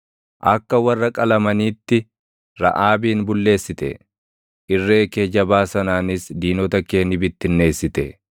Akka warra qalamaniitti Raʼaabin bulleessite; irree kee jabaa sanaanis diinota kee ni bittinneessite.